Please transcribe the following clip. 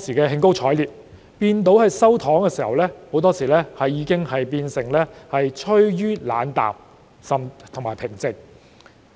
時均感到興高采烈，但到後來收到"糖"的時候，很多市民已變得冷淡和平靜。